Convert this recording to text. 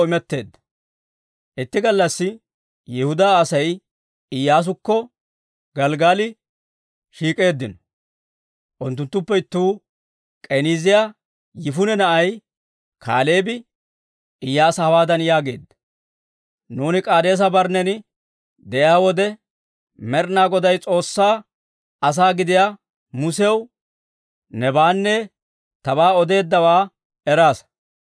Itti gallassi Yihudaa Asay Iyyaasukko Gelggali shiik'eeddino. Unttunttuppe ittuu, K'eniiziyaa Yifune na'ay Kaaleebi Iyyaasa hawaadan yaageedda; «Nuuni K'aadeesa-Barnnen de'iyaa wode, Med'ina Goday, S'oossaa asaa gidiyaa Musew nebaanne tabaa odeeddawaa eraasa.